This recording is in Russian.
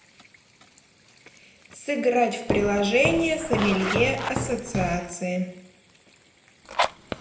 сыграть в приложение сомелье ассоциации